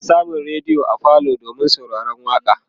ana samun rediyo a falo domin sauraron waƙa